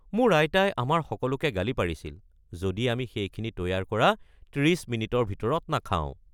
মোৰ আইতাই আমাৰ সকলোকে গালি পাৰিছিল যদি আমি সেইখিনি তৈয়াৰ কৰা ৩০ মিনিটৰ ভিতৰত নাখাওঁ।